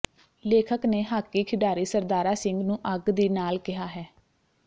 ਲੇਖਕ ਨੇ ਹਾਕੀ ਖਿਡਾਰੀ ਸਰਦਾਰਾ ਸਿੰਘ ਨੂੰ ਅੱਗ ਦੀ ਨਾਲ਼ ਕਿਹਾ ਹੈ